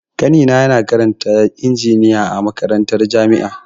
Ƙanina na karanta injiniya a makarantar jami'a.